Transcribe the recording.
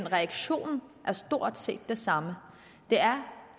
reaktionen er stort set den samme det er